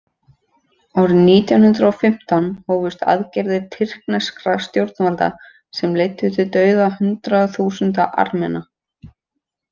Árið nítján hundrað og fimmtán hófust aðgerðir tyrkneskra stjórnvalda sem leiddu til dauða hundraða þúsunda Armena.